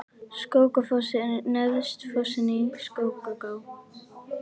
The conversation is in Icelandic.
Skógafoss er neðsti fossinn í Skógaá.